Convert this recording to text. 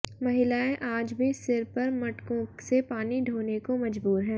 महिलाएं आज भी सिर पर मटकों से पानी ढोने को मजबूर हैं